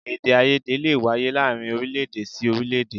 Èdèàìyedè lè wáyé láàárín orílé-èdè sí orílé-èdè